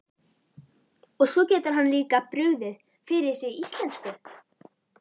Og svo getur hann líka brugðið fyrir sig íslensku!